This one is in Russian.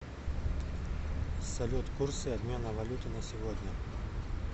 салют курсы обмена валюты на сегодня